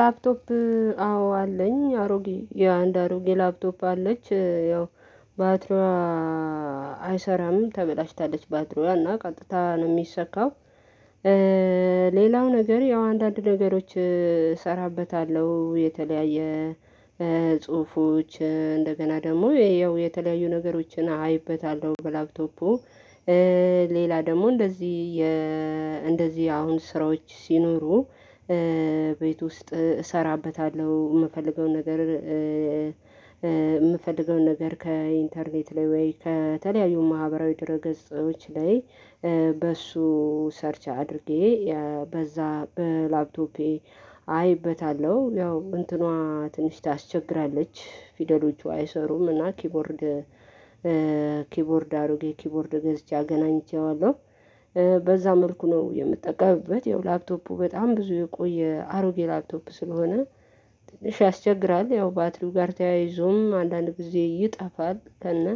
ላፕቶፕ አዎ አለኝ አሮጌ አንድ አሮጌ ላፕቶፕ አለች ያው ባትሮዋ አይሰራም ተበላሽታለች ባትሮዋ እና ቀጥታ ነው የሚሰካው። ሌላው ነገር ያው አንዳንድ ነገሮች እሰራበታለሁ የተለያየ የጽሁፎች እንደገና ደግሞ ይሄው የተለያዩ ነገሮችን አይበታለሁ በላፕቶፑ። ሌላ ደግሞ እንደዚህ እንደዚህ አሁን ስራዎች ሲኖሩ ቤት ውስጥ እሰራበታለሁ የምፈልገውን ነገር። የምፈልገውን ነገር ከኢንተርኔት ላይ ወይ ከተለያዩ ማህበራዊ ድር ገጾች ላይ በሱ ሰርች አድርጌ በዛ በላፕቶፔ አይበታለሁ። ያው እንትኗ ትንሽ ታስቸግራለች። ፊደሎቹ አይሰሩምና ኪቦርድ ኪቦርድ አሮጌ ኪቦርድ ገዝቼ አገናኝቼዋለሁ በዛ መልኩ ነው የምጠቀምበት። ይኸው ላፕቶፑ በጣም ብዙ የቆየ አሮጌ ላፕቶፕ ስለሆነ ትንሽ ያስቸግራል። ያው ባትሪው ጋር ተያይዞም አንዳንድ ጊዜ ይጠፋል እና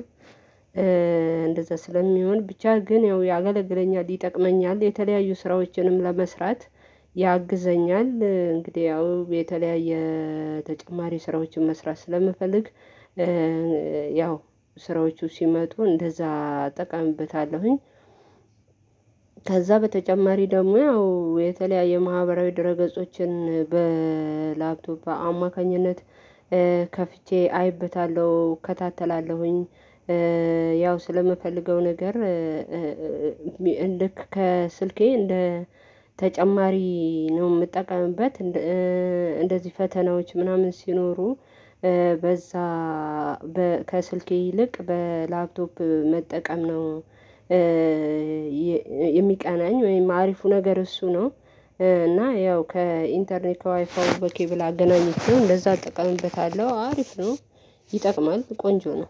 እንደዛ ስለሚሆን ብቻ ግን ያው ያገለግለኛል ይጠቅመኛል። የተለያዩ ስራዎችንም ለመስራት ያግዘኛል እንግዲህ ያው የተለያየ ተጨማሪ ስራዎችን መስራት ስለምፈልግ ያው ስራዎቹ ሲመጡ እንደዛ እጠቀምበታለሁኝ። ከዛ በተጨማሪ ደግሞ ያው የተለያየ ማህበራዊ ድረ ገጾችን በላፕቶፕ በአማካኝነት ከፍቼ አይበታለሁ እከታተላለሁኝ። ያው ስለምፈልገው ነገር ልክ ከስልኬ እንደ ተጨማሪ ነው የምጠቀምበት። እንደዚህ ፈተናዎች ምናምን ሲኖሩ በዛ ከስልኬ ይልቅ በላፕቶፕ መጠቀም ነው የሚቀናኝ ወይም አሪፉ ነገር እሱ ነው። እና ያው ከኢንተርኔት ከዋይፋው በኬብል አገናኘችው እንደዛ አጠቃምበታለሁ አሪፍ ነው ይጠቅማል ቆንጆ ነው